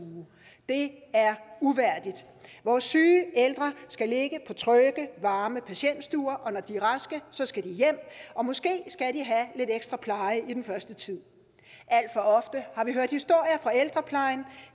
det er uværdigt vores syge og ældre skal ligge på trygge varme patientstuer og når de raske skal de hjem og måske skal de have lidt ekstra pleje i den første tid alt for ofte har vi hørt historier fra ældreplejen